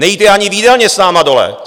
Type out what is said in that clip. Nejíte ani v jídelně s námi dole.